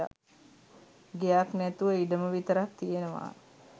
ගෙයක් නැතුව ඉඩම විතරක් තියෙනවා